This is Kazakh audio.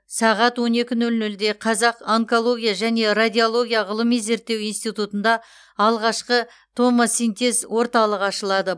сағат он екі нөл нөлде қазақ онкология және радиология ғылыми зерттеу институтында алғашқы томосинтез орталығы ашылады